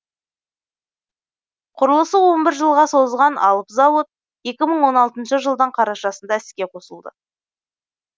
құрылысы он бір жылға созылған алып зауыт екі мың он алтыншы жылдың қарашасында іске қосылды